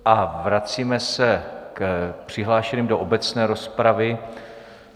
A vracíme se k přihlášeným do obecné rozpravy.